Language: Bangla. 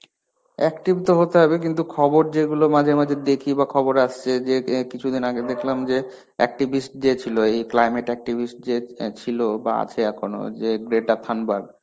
active তো হতে হবে কিন্তু, খবর যেগুলো মাঝে মাঝে দেখি বা খবর আসছে যে কিছুদিন আগে দেখলাম যে activist যে ছিলো এই climate activist যে ছিলো বা আছে এখনো যে